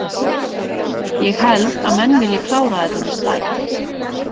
Ég held að menn vilji klára þetta með stæl.